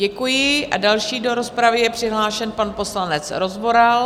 Děkuji a další do rozpravy je přihlášen pan poslanec Rozvoral.